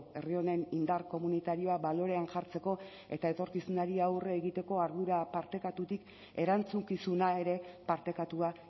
herri honen indar komunitarioa balorean jartzeko eta etorkizunari aurre egiteko ardura partekatutik erantzukizuna ere partekatua